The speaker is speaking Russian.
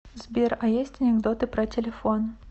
сбер а есть анекдоты про телефон